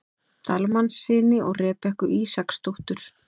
Dalmannssyni og Rebekku Ísaksdóttur.